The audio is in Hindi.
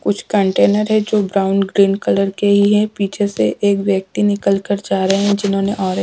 कुछ कंटेनर है जो ब्राउन ग्रीन कलर के ही है पीछे से एक व्यक्ति निकल कर जा रहे है जिन्होंने औरे--